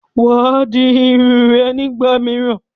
Wàá di Irun rẹ nígbà míràn